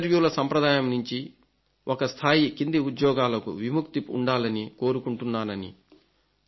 ఈ ఇంటర్వ్యూల సంప్రదాయం నుంచి ఒక స్థాయి కింది ఉద్యోగాలకు విముక్తి ఉండాలని కోరుకుంటున్నానని